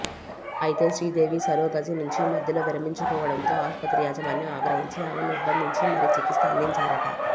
అయితే శ్రీదేవి సరోగసి నుంచి మధ్యలో విరమించుకోవడంతో ఆస్పత్రి యాజమాన్యం ఆగ్రహించి ఆమెని నిర్బంధించి మరీ చికిత్స అందించారట